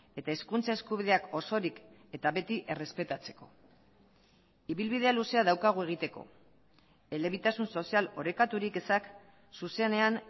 eta hizkuntza eskubideak osorik eta beti errespetatzeko ibilbidea luzea daukagu egiteko elebitasun sozial orekaturik ezak zuzenean